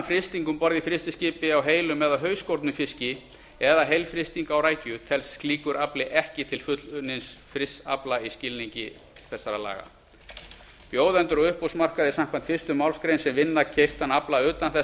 frysting um borð í frystiskipi á heilum eða hausskornum fiski eða heilfrysting á rækju telst slíkur afli ekki til fullunnins frysts afla í skilningi laga þessara bjóðendur á uppboðsmarkaði samkvæmt fyrstu málsgrein sem vinna keyptan afla utan þess